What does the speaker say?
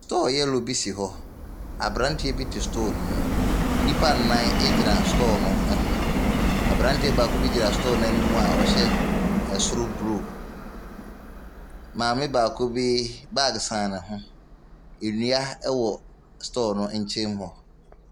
Store yellow bi si hɔ, aberanteɛ bi te store ne mu, nnipa nnan gyina store ne ho, aberanteɛ baako gyina store n’anim a ɔhyɛ soro blue, maame baako bi baage sɛn ne ho, awia wɔ store no nkyɛn mu.